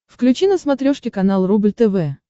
включи на смотрешке канал рубль тв